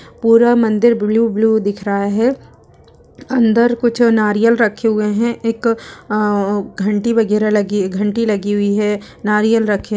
पूरा मंदिर ब्लू-ब्लू दिख रहा है। अंदर कुछ नारियल रखे हुए हैं। एक घंटी वगैरह लगी घंटी लगी हुई हैं। नारियल रखे --